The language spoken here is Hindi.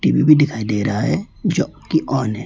टी_वी भी दिखाई दे रहा है जो कि ऑन है।